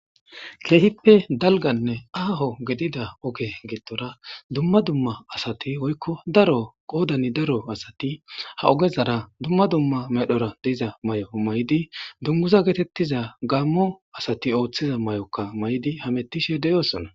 keehippe dalganne aaho gedida oge gittora dumma dumma asati woykko daro qoodani daro asati ha ogezara dumma dumma medhora diiza may7o may7di dunguza geetettiza gammo asati ooththiza may7okka may7di hamettishe deyoosona